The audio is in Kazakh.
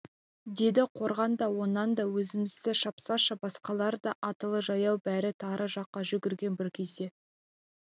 деді қорған да онан да өзімізді шапсашы басқалар да аттылы-жаяу бәрі тары жаққа жүгірген бір кезде